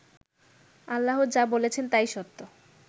আল্লাহ যা বলেছেন তাই সত্য